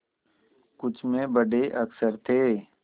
कुछ में बड़े अक्षर थे